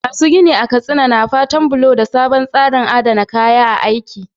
Masu gini a Katsina na fatan bullo da sabon tsarin adana kayan aiki.